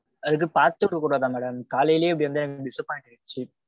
அது பாத்துவிட கூடாதா madam. காலையிலேயே இப்பிடி இருந்நதா எனக்கு disappoint ஆயிடிச்சு.